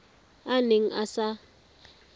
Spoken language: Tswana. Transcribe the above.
a a neng a sa